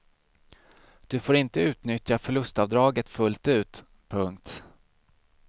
Du får inte utnyttja förlustavdraget fullt ut. punkt